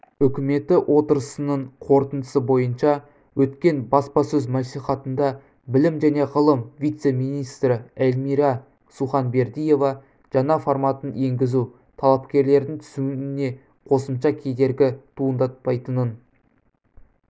үкіметі отырысының қорытындысы бойынша өткен баспасөз мәслихатында білім және ғылым вице-министрі эльмира суханбердиева жаңа форматын енгізу талапкерлердің түсуіне қосымша кедергі туындатпайтынын